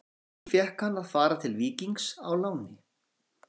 Því fékk hann að fara til Víkings á láni.